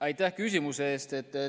Aitäh küsimuse eest!